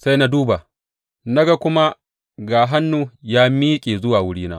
Sai na duba, na kuma ga hannu ya miƙe zuwa wurina.